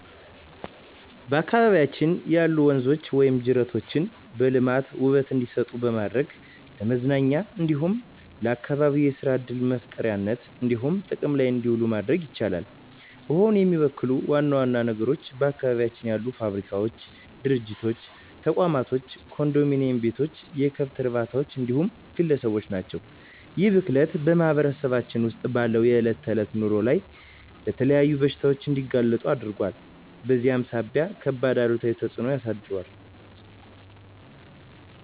በአካባቢያችን ያሉ ወንዞች ወይም ጅረቶችን በማልማት ውበት እንዲሰጡ በማድረግ ለመዝናኛ እንዲሁም ለአካባቢ የሰራ ዕድል መፍጠሪያነት እንዲሆኑ ጥቅም ላይ እንዲውሉ ማድረግ ይቻላል። ውሃውን የሚበክሉ ዋና ዋና ነገሮች በአካባቢያችን ያሉ ፋብሪካዎች፣ ድርጅቶች፣ ተቋማቶች፣ ኮንዶሚኒዬም ቤቶች፣ የከብት እርባታዎች እንዲሁም ግለሰቦች ናቸው። ይህ ብክለት በማህበረሰባችን ውስጥ ባለው የዕለት ተዕለት ኑሮ ላይ ለተለያዩ በሽታዎች እንዲጋለጡ አድርጓል በዚህም ሳቢያ ከባድ አሉታዊ ተፅዕኖ አሳድሯል።